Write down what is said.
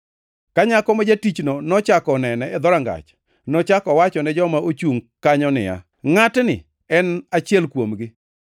Ka nyako ma jatichno nochako onene e dhorangach, nochako owacho ne joma ochungʼ kanyo niya, “Ngʼatni en achiel kuomgi.”